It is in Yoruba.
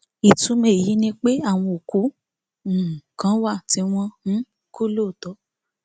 ìtumọ èyí ni pé àwọn òkú um kan wà tí wọn um kú lóòótọ